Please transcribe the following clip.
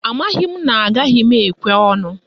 Amaghị m na agaghị m ekwe ọnụ